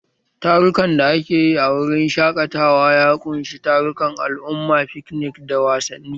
Tarukan da ake yi a wurin shaƙatawa ya ƙunshi tarukan al'umma, fiknik, da wasanni.